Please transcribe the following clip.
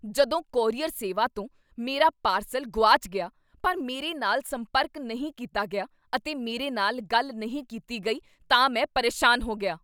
ਜਦੋਂ ਕੋਰੀਅਰ ਸੇਵਾ ਤੋਂ ਮੇਰਾ ਪਾਰਸਲ ਗੁਆਚ ਗਿਆ , ਪਰ ਮੇਰੇ ਨਾਲ ਸੰਪਰਕ ਨਹੀਂ ਕੀਤਾ ਗਿਆ ਅਤੇ ਮੇਰੇ ਨਾਲ ਗੱਲ ਨਹੀਂ ਕੀਤੀ ਗਈ, ਤਾਂ ਮੈਂ ਪਰੇਸ਼ਾਨ ਹੋ ਗਿਆ।